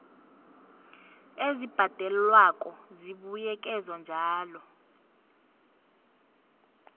ezibhadelwako zibuyekezwa njalo